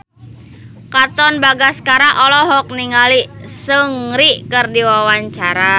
Katon Bagaskara olohok ningali Seungri keur diwawancara